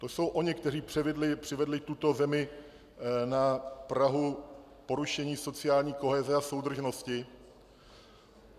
To jsou oni, kteří přivedli tuto zemi na prahu porušení sociální koheze a soudržnosti.